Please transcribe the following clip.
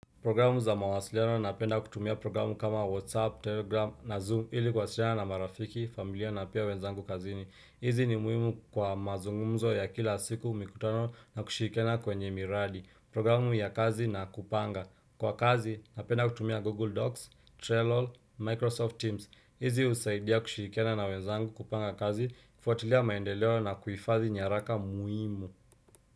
Programu za mawasiliano napenda kutumia programu kama WhatsApp, Telegram na Zoom ili kuwasiliana na marafiki, familia na pia wenzangu kazini. Hizi ni muhimu kwa mazungumzo ya kila siku mikutano na kushirikiana kwenye miradi. Programu ya kazi na kupanga. Kwa kazi napenda kutumia Google Docs, Trello, Microsoft Teams. Hizi husaidia kushirikiana na wenzangu kupanga kazi, kufuatilia maendeleo na kuifadhi nyaraka muhimu.